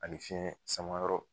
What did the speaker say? Ani fiɲɛ sama yɔrɔ.